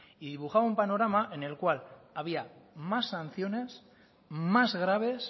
y dibujaba un panorama en el cual había más sanciones más graves